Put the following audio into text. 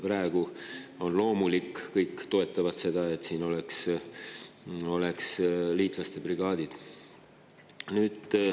Praegu on loomulik, kõik toetavad seda, et siin oleks liitlaste brigaadid.